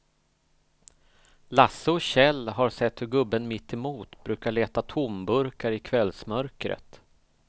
Lasse och Kjell har sett hur gubben mittemot brukar leta tomburkar i kvällsmörkret.